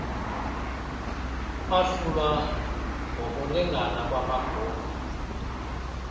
kwahlulwa nokulingana kwamagunya